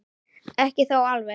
Ekki þó alveg.